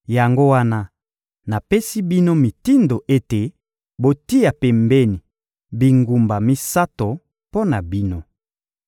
Yango wana, napesi bino mitindo ete botia pembeni bingumba misato mpo na bino.